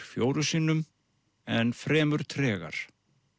fjórum sinnum en fremur tregar